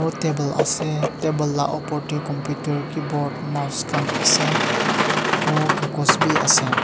table ase table la opor tu computer keyboard mouse khan ase aro kakos bi ase.